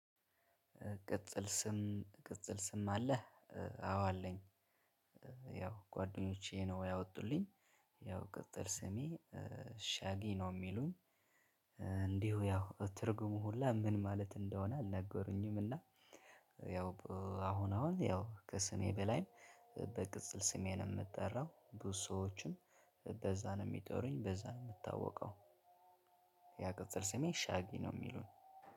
ቅጽል ስም ቅጽል ስም አለህ? አዎ አለኝ። ያው ጓደኞቼ ነው ያወጡልኝ ያው ቅጽል ስሜ ሻጊ ነው ሚሉኝ። እንዲሁ ያው ትርጉሙ ሁላ ምን ማለት እንደሆነ አልነገሩኝም እና። ያው አሁን አሁን ያው ከስሜ በላይ በቅጽል ስሜ ነው ምጠራው። ብዙ ሰዎችም በዛ ነው ሚጠሩኝ በዛ ነው ምታወቀው። ያ ቅጽል ስሜ ሻጊ ነው ሚሉኝ